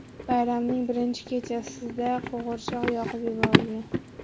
Bayramning birinchi kechasida qo‘g‘irchoq yoqib yuborilgan.